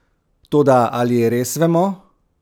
Toda ali res vemo?